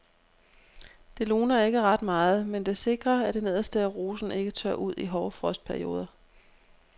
Det luner ikke ret meget, men det sikrer at det nederste af rosen ikke tørrer ud i hårde frostperioder.